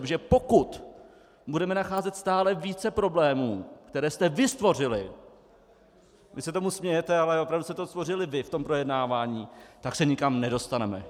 Protože pokud budeme nacházet stále více problémů, které jste vy stvořili - vy se tomu smějete, ale opravdu jste to stvořili vy v tom projednávání - tak se nikam nedostaneme.